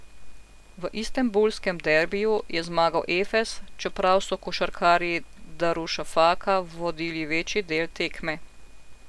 V istanbulskem derbiju je zmagal Efes, čeprav so košarkarji Darušafaka vodili večji del tekme.